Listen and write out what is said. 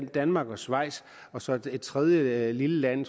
danmark og schweiz og så et tredje lille land